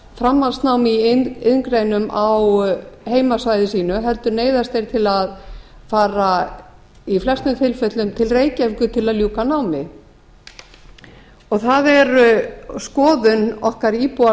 framhaldsnámi í iðngreinum á heimasvæði sínu heldur neyðast þeir til að fara í flestum tilfellum til reykjavíkur til að ljúka námi það er skoðun okkar íbúa